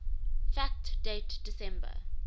fact date december